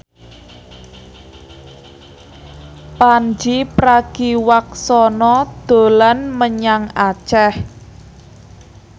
Pandji Pragiwaksono dolan menyang Aceh